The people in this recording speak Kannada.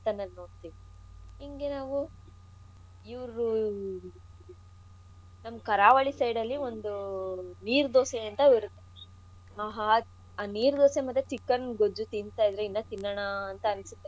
ಗಳು ನಾವು ರಾಜಸ್ಥಾನ್ ಅಲ್ ನೋಡ್ಬೋದು ಇಂಗೆ ನಾವು ಇವ್ರು ನಮ್ ಕಾರಾವಳಿ side ನಲ್ಲಿ ಒಂದು ಆ ನೀರ್ ದೋಸೆ ಅಂತ ಬರುತ್ತೆ. ಆಹಾ ಆ ನೀರ್ ದೋಸೆ ಮತ್ತೆ chicken ಗೊಜ್ಜು ತಿನ್ತಾಯಿದ್ರೆ ಇನ್ನ ತಿನ್ನಣಾ ಅಂತ ಅನ್ಸುತ್ತೆ.